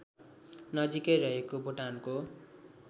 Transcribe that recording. नजिकै रहेको भुटानको